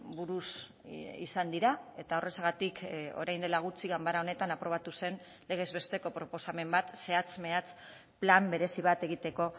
buruz izan dira eta horrexegatik orain dela gutxi ganbara honetan aprobatu zen legez besteko proposamen bat zehatz mehatz plan berezi bat egiteko